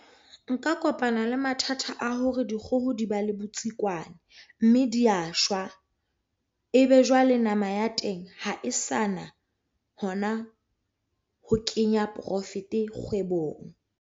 Nka kopana le mathata a hore dikgoho di ba le botsikwane mme di ya shwa. Ebe jwale nama ya teng ha e sa na hona ho kenya profit-e kgwebong.